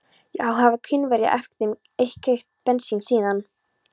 Og hafa einhverjir af þeim keypt bensín síðan